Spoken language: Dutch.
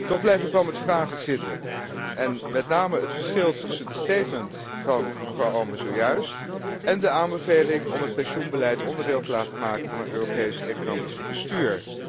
Toch blijf ik wel met vragen zitten, en met name het verschil tussen de statements van mevrouw Oomen zojuist en de aanbeveling om het pensioenbeleid onderdeel te laten maken van een Europees economisch bestuur.